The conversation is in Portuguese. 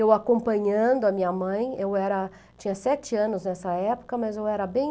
Eu acompanhando a minha mãe, eu era, tinha sete anos nessa época, mas eu era bem...